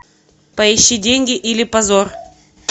поищи деньги или позор